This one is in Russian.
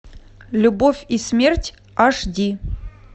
любовь и смерть аш ди